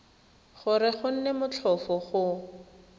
gore go nne motlhofo go